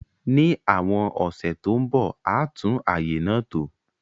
Ní àwon ọ̀sẹ̀ to n bo, a tùn àyè náà tò